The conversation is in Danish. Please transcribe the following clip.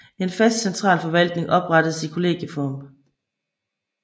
En fast centralforvaltning oprettedes i kollegieform